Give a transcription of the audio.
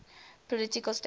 political status